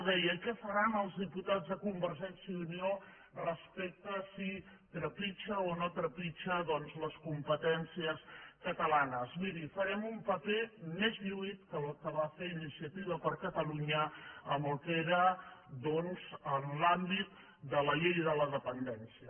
deia què faran els diputats de convergència i unió respecte a si trepitja o no trepitja les competències catalanes miri farem un paper més lluït que el que va fer iniciativa per catalunya en el que era l’àmbit de la llei de la dependència